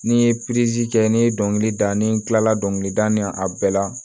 Ni n ye kɛ n ye dɔnkilida n ye n kila la dɔnkilida a bɛɛ la